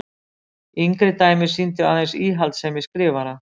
Yngri dæmi sýndu aðeins íhaldssemi skrifara.